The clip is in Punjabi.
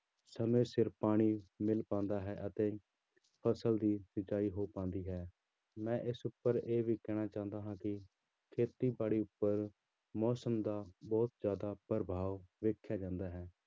ਸਮੇਂ ਸਿਰ ਪਾਣੀ ਮਿਲ ਪਾਉਂਦਾ ਹੈ ਅਤੇ ਫ਼ਸਲ ਦੀ ਸਿੰਚਾਈ ਹੋ ਪਾਉਂਦੀ ਹੈ ਮੈਂ ਇਸ ਉੱਪਰ ਇਹ ਵੀ ਕਹਿਣਾ ਚਾਹੁੰਦਾ ਹਾਂ ਕਿ ਖੇਤੀਬਾੜੀ ਉੱਪਰ ਮੌਸਮ ਦਾ ਬਹੁਤ ਜ਼ਿਆਦਾ ਪ੍ਰਭਾਵ ਵੇਖਿਆ ਜਾਂਦਾ ਹੈ।